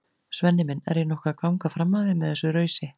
Svenni minn, er ég nokkuð að ganga fram af þér með þessu rausi?